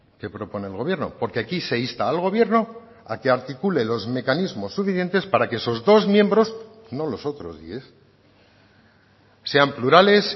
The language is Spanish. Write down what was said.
que propone el gobierno porque aquí se insta al gobierno a que articule los mecanismos suficientes para que esos dos miembros no los otros diez sean plurales